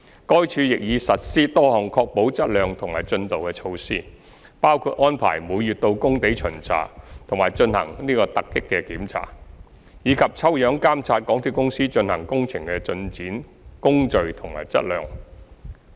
該署亦已實施多項確保質量及進度的措施，包括安排每月到工地巡查及進行突擊檢查，以及抽樣監察港鐵公司進行工程的進展、工序及質量。